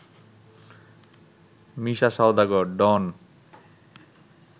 মিশা Saudagar, ডন